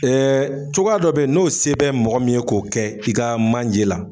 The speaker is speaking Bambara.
cogoya dɔ be ye n'o se bɛ mɔgɔ min ye k'o kɛ i ka manje la